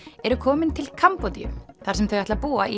eru komin til Kambódíu þar sem þau ætla að búa í